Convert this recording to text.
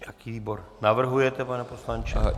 Jaký výbor navrhujete, pane poslanče?